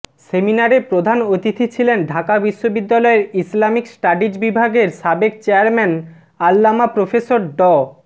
সেমিনারে প্রধান অতিথি ছিলেন ঢাকা বিশ্ববিদ্যালয়ের ইসলামিক স্টাডিজ বিভাগের সাবেক চেয়ারম্যান আল্লামা প্রফেসর ড